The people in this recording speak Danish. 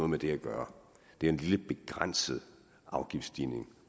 med det at gøre det er en lille begrænset afgiftsstigning